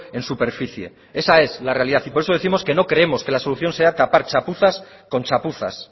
en superficie esa es la realidad y por eso décimos que no creemos que la solución sea tapar chapuzas con chapuzas